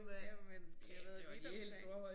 Jamen I har været vidt omkring